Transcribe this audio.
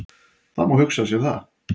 Það má hugsa sér það.